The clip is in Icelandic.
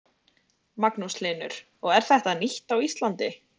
Magnús Hlynur: Og er þetta nýtt á Íslandi?